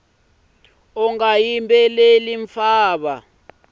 unga yimbeleli mfava